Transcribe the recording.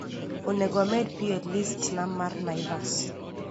onego amed pi e list na mar naivas